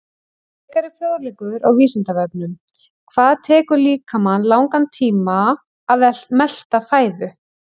Frekari fróðleikur á Vísindavefnum: Hvað tekur líkamann langan tíma að melta fæðu?